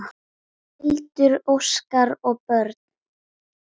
Hildur, Óskar og börn.